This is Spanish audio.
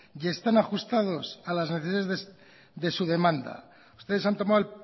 y están ajustados a las necesidades de su demanda ustedes han tomado